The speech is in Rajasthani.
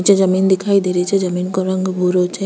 निचे जमीन दिखाई दे रही छे जमीन का रंग भूरो छे।